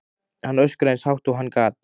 Hann öskraði eins hátt og hann gat.